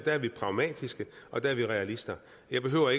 er vi pragmatiske og der er vi realister jeg behøver